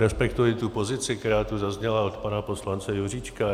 Respektuji tu pozici, která tu zazněla od pana poslance Juříčka.